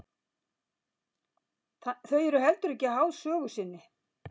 Þau eru heldur ekki háð sögu sinni.